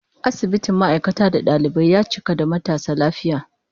Asibitin ma'aikata da dalibai, ya cika da matasa lafiya